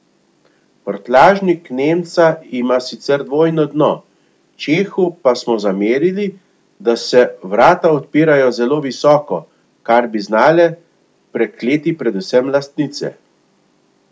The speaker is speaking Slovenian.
Prtljažnik nemca ima sicer dvojno dno, čehu pa smo zamerili, da se vrata odpirajo zelo visoko, kar bi znale prekleti predvsem lastnice.